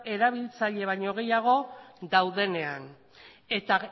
erabiltzaile baino gehiago daudenean eta